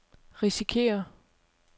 risikerer